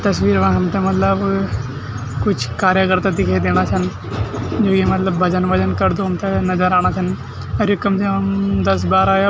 तस्वीर मां हमथे मतलब कुछ कार्यकर्ता दिखे दिणा छन जु ये मलब भजन-वजन करदू थे नजर आणा छन अर इखम अमम् दस बारा --